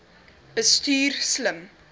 bestuur slim